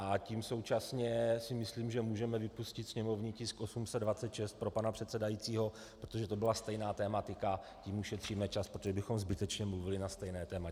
A tím současně si myslím, že můžeme vypustit sněmovní tisk 826 pro pana předsedajícího, protože to byla stejná tematika, tím ušetříme čas, protože bychom zbytečně mluvili na stejné téma.